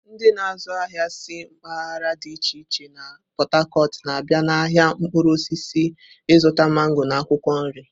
Ndị na-azụ ahịa si mpaghara dị iche iche na Pot-Tacot na-abịa n'ahịa mkpụrụ osisi ịzụta mango na akwụkwọ nri.